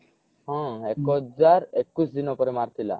ହଁ ଏକ ହଜାର ଏକୋଇଶି ଦିନ ପରେ ମାରିଥିଲା